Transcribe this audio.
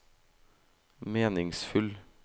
meningsfull